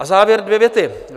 A závěr - dvě věty.